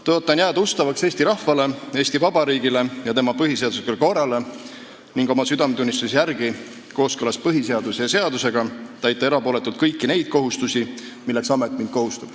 Tõotan jääda ustavaks Eesti rahvale, Eesti Vabariigile ja tema põhiseaduslikule korrale ning oma südametunnistuse järgi, kooskõlas põhiseaduse ja seadusega, täita erapooletult kõiki neid kohustusi, milleks amet mind kohustab.